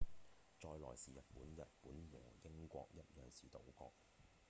再來是日本日本和英國一樣是島國